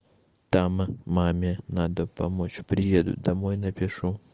там маме надо помочь приеду домой напишу